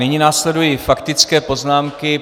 Nyní následují faktické poznámky.